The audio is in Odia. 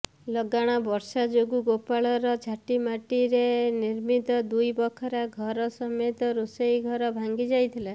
ଲଗାଣବର୍ଷା ଯୋଗୁଁ ଗୋପାଳଙ୍କ ଝାଟିମାଟିରେ ନିର୍ମିତ ଦୁଇବଖରା ଘର ସମେତ ରୋଷେଇ ଘର ଭାଙ୍ଗିଯାଇଥିଲା